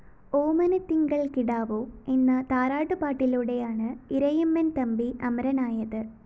ഓമനത്തിങ്കള്‍ കിടാവോ എന്ന താരാട്ടുപാടിലൂടെയാണ് ഇരയിമ്മന്‍ തമ്പി അമരനായത്